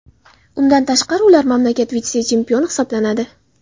Undan tashqari, ular mamlakat vitse-chempioni hisoblanadi.